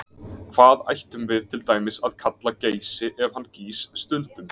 Hvað ættum við til dæmis að kalla Geysi ef hann gýs stundum?